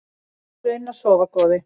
Farðu inn að sofa góði.